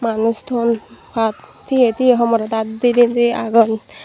manus ton pat teye teye homorot aat deneni guri agon.